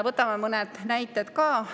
Võtame mõned näited ka.